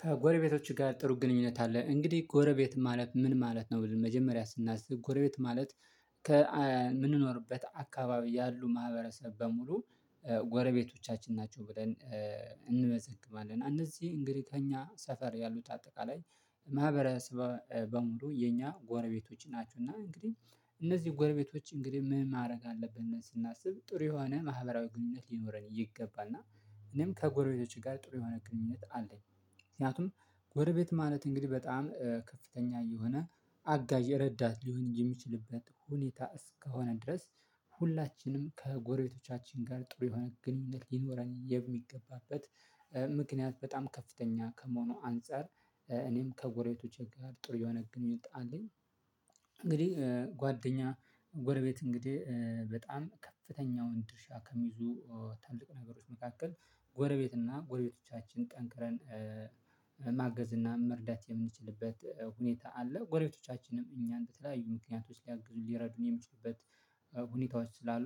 ከጎረቤቶቹ ጋር ጥሩ ግንኙነት አለ እንግዲህ ጎረቤት ማለት ምን ማለት ነው ብልህ መጀመሪያ ስናስብ ጎረቤት ማለት ከምንኖርበት አካባቢ ያሉ ማህበረሰብ በሙሉ ጎረቤቶቻችን ናቸው ብለን እንመዘግባለን እነዚህ እንግዲህ ታኛ ሰፈር ያሉት አጠቃላይ ማህበረሰብ በሙሉ የኛ ጎረቤቶች ናቸው እና እንግዲህ እነዚህ ጎረቤቶች እንግዲህ ምን ማድረግ አለብን ስናስብ ጥሩ የሆነ ማህበራዊ ግንኙነት ሊኖረን ይገባናል። እኔም ከጎረቤቶቼ ጋር ጥሩ የሆነ ግንኙነት አለኝ ምክንያቱም ጎረቤት ማለት እንግዲህ በጣም ከፍተኛ የሆነ አጋዠ የረዳት ሊሆን የሚችልበት ሁኔታ እስከሆነ ድረስ ሁላችንም ከጎረቤቶቻችን ጋር ጥሩ የሆነ ግንኙነት ሊኖር የሚገባበት። ምክንያት በጣም ከፍተኛ ከመሆኑ አንፃር እኔም ከጎሬቶቼ ጋር ጥሩ የሆነ ግንኙነት አለኝ እንግዲህ ጓደኛ ጎረቤት እንግዲህ በጣም ከፍተኛ ወንድ ድርሻ ከሚይዙ ታልቅ ነገሮች መካከል ጎረቤት እና ጎረቤቶቻችን ጠንክረን ማገዝ እና መርዳት የምንችልበት ሁኔታ አለ ጎረቤቶቻችንም እኛን ለተለያዩ ምክንያቶች ሊያግዙ ሊረዱኝ የሚችሉበት ሁኔታዎች ስላሉ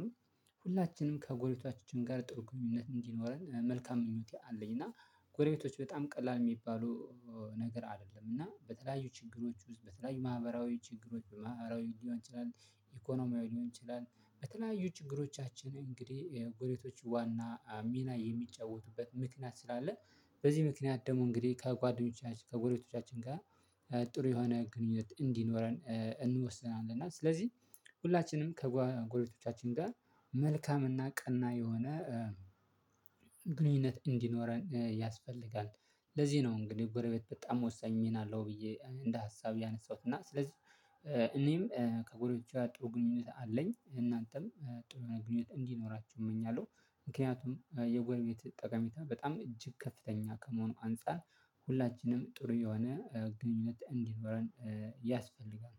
ሁላችንም ከጎሪቷችን ጋር ጥሩ ግንኙነት እንዲኖረን መልካም ምኞቴ አለኝ። እና ጎረቤቶች በጣም ቀላል የሚባሉ ነገር አይደለም እና በተለያዩ ችግሮች ውስጥ በተለያዩ ማህበራዊ ችግሮች ማህበራዊ ሊሆን ይችላል ኢኮኖሚው ሊሆን ይችላል በተለያዩ ችግሮቻችን ጎረቤቶች ዋና ሚና የሚጫወቱበት ምክንያት ስላለ በዚህ ምክንያት ደግሞ እንግዲህ ከጓደኞቻችን ከጓደኞቻችን ጋር ጥሩ የሆነ ግንኙነት እንዲኖረን እንወስናለን እና ስለዚህ ሁላችንም ከጎረቤቶቻችን ጋር መልካምና ቀና የሆነ ግንኙነት እንዲኖረን ያስፈልጋል ለዚህ ነው እንግዲህ ጎረቤት በጣም ወሳኝ ምን አለው ብዬ እንደ ሀሳብ ያነሳሁት እና ስለዚህ እኔም ከጎረቤቶቼ ጥሩ ግንኙነት አለኝ እናንተም ጥሩ ግንኙነት እንዲኖራችሁ እመኛለሁ ምክንያቱም የጎርቤት ጠቀሜታ በጣም እጅግ ከፍተኛ ከመሆኑ አንፃር ሁላችንም ጥሩ የሆነ ግንኙነት እንዲኖረን ያስፈልጋል።